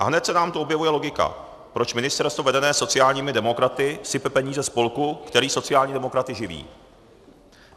A hned se nám tu objevuje logika, proč ministerstvo vedené sociálními demokraty sype peníze spolku, který sociální demokraty živí.